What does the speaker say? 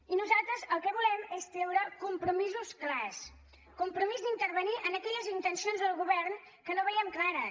i nosaltres el que volem és treure compromisos clars compromís d’intervenir en aquelles intencions del govern que no veiem clares